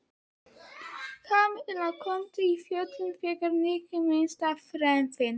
Kamilla kom af fjöllum þegar Nikki minntist á bréfin.